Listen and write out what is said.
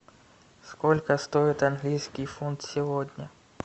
сколько стоит английский фунт сегодня